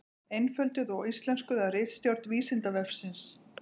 Einfölduð og íslenskuð af ritstjórn Vísindavefsins.